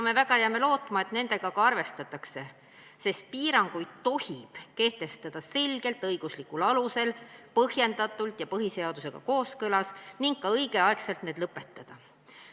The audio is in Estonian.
Me jääme lootma, et nendega ka arvestatakse, sest piiranguid tohib kehtestada vaid selgelt õiguslikul alusel, põhjendatult ja põhiseadusega kooskõlas ning need tuleb õigel ajal ka lõpetada.